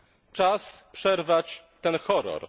Czas przerwać ten horror.